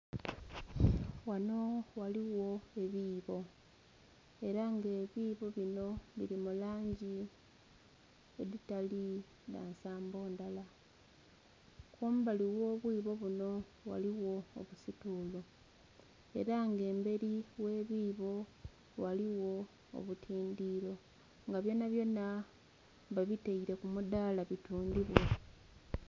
Wano ghaligho ebiibo ela nga ebiibo bino bili mu langi edhitali dha nsambo ndhala. Kumbali gh'obwibo buno ghaligho obusituulu ela nga emberi gh'ebiibo ghaligho obutindhiro nga byonabyona babitaire ku mudaala bitundhibwe.